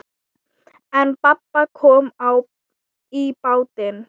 En babb kom í bátinn.